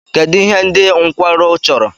Kedu ihe ndị nkwarụ chọrọ?